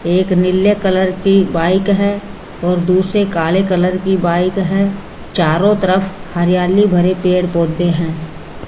एक नीले कलर की बाइक है और दूसरे काले कलर की बाइक है चारों तरफ हरियाली भरे पेड़ पौधे हैं।